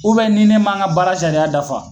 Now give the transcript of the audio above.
nin ne man n ka bara sariya dafa